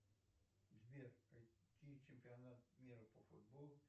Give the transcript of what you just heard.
сбер какие чемпионаты мира по футболу